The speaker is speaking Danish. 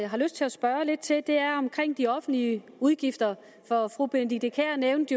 har lyst til at spørge lidt til er de offentlige udgifter for fru benedikte kiær nævnte